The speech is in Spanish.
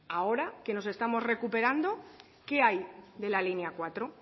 ahora que nos estamos recuperando qué hay de la línea cuatro